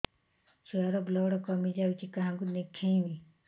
ଛୁଆ ର ବ୍ଲଡ଼ କମି ଯାଉଛି କାହାକୁ ଦେଖେଇବି